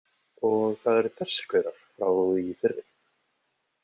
Og það eru þessir gaurar frá í fyrri.